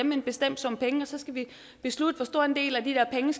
med en bestemt sum penge og så skal vi beslutte hvor stor en del af de der penge